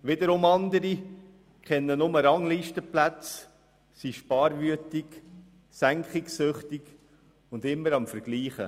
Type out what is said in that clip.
Wiederum andere kennen nur Ranglistenplätze, sind sparwütig, senkungssüchtig und immer am Vergleichen.